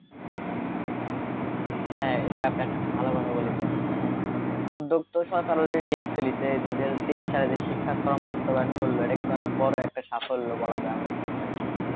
হ্যাঁ, এটা একটা ভালো কথা বলেছেন এখন উদ্যোগ তো সরকার লিয়েই ফেলিছে যে তেইশ সালে শিক্ষা শ্রম বাস্তবায়ন করলো এটা কিন্তু অনেক বড়ো সাফল্য বলা যায় আমাদের সরকারের,